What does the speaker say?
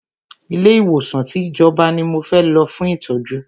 Ilé ìwòsàn tí ìjọba ní mo fẹ́ lọ fún ìtọ́jú!